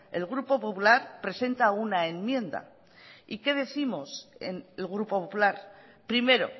el grupo popular presenta una enmienda y qué décimos en el grupo popular primero